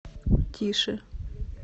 тише